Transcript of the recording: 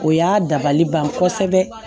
O y'a dabali ban kosɛbɛ